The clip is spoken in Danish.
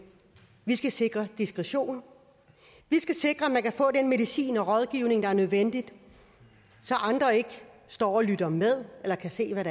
vi skal sikre diskretion vi skal sikre at man kan få den medicin og rådgivning der er nødvendig så andre ikke står og lytter med eller kan se hvad